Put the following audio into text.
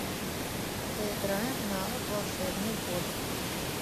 поиграем в навык волшебный бот